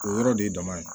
O yɔrɔ de ye dama ye